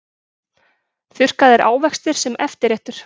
Þurrkaðir ávextir sem eftirréttur